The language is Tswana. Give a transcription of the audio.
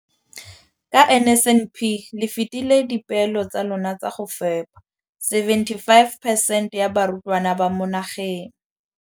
Ka NSNP le fetile dipeelo tsa lona tsa go fepa masome a supa le botlhano a diperesente ya barutwana ba mo nageng.